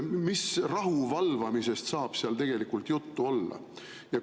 Mis rahuvalvamisest saab seal tegelikult juttu olla?